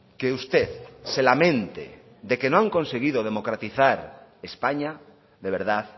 que usted se lamente de que no han conseguido democratizar españa de verdad